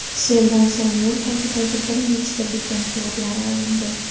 Seldan so‘ng yo‘l tagidagi bir nechta beton quvurlar olindi.